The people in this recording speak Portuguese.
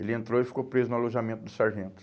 Ele entrou e ficou preso no alojamento do sargento.